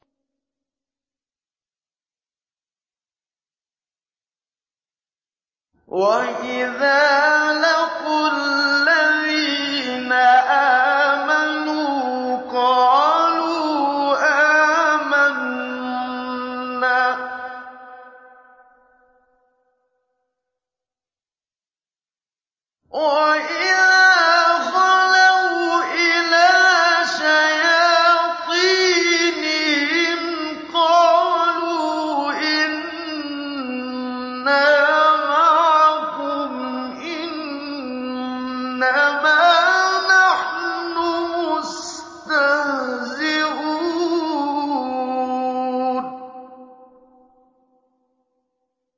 وَإِذَا لَقُوا الَّذِينَ آمَنُوا قَالُوا آمَنَّا وَإِذَا خَلَوْا إِلَىٰ شَيَاطِينِهِمْ قَالُوا إِنَّا مَعَكُمْ إِنَّمَا نَحْنُ مُسْتَهْزِئُونَ